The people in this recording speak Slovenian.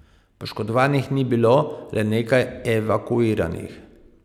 Poškodovanih ni bilo, le nekaj evakuiranih.